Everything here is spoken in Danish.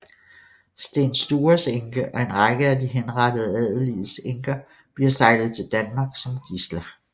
Sten Stures enke og en række af de henrettede adeliges enker bliver sejlet til Danmark som gidsler